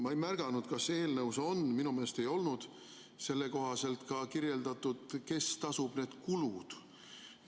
Ma ei märganud, kas see eelnõus on – minu meelest ei olnud selle kohta kirjeldatud –, kes tasub need kulud.